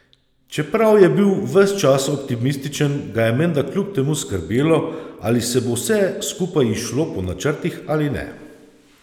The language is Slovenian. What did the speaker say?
Čeprav je bil ves čas optimističen, ga je menda kljub temu skrbelo, ali se bo vse skupaj izšlo po načrtih ali ne.